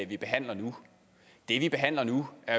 vi behandler nu det vi behandler nu er